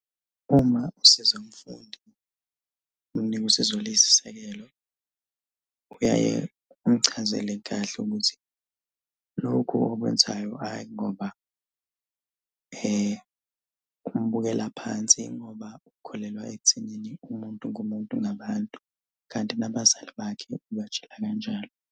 Uma usiza umfundi, ngosizo oluyisisekelo, uyaye umchazele kahle ukuthi lokhu okwenzayo ayi ngoba umubukela phansi ingoba ukholelwa ekuthenini umuntu ngumuntu ngabantu, kanti nabazali bakhe ubatshela kanjalo.